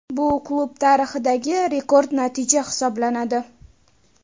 Bu klub tarixidagi rekord natija hisoblanadi.